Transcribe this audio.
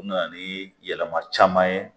U nana ni yɛlɛma caman ye